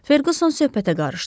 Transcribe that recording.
Ferquson söhbətə qarışdı.